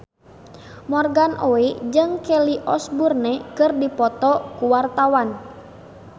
Morgan Oey jeung Kelly Osbourne keur dipoto ku wartawan